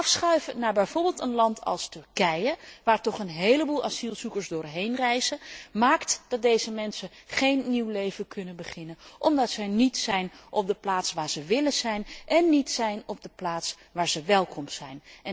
Het afschuiven naar een land als Turkije bijvoorbeeld, waar toch een heleboel asielzoekers doorheen reizen, maakt dat deze mensen geen nieuw leven kunnen beginnen omdat zij niet zijn op de plaats waar zij willen zijn en niet zijn op de plaats waar zij welkom zijn.